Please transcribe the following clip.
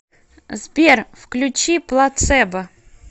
сбер включи плацебо